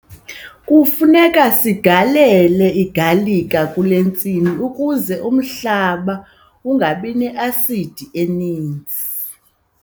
Kufuneka sigalele igalika kule ntsimi ukuze umhlaba ungabi ne-asidi eninzi.